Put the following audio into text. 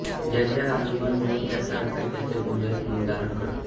ज्याचे आलंबन देऊ त्याचा आकार त्याचे गुणदोष मन धारण करते